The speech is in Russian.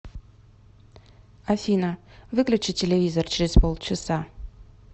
афина выключи телевизор через полчаса